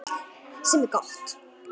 Sem er gott.